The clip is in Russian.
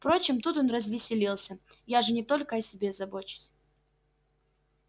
впрочем тут он развеселился я же не только о себе забочусь